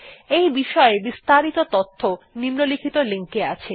এই বিষয় বিস্তারিত তথ্য নিম্নলিখিত লিঙ্ক এ আছে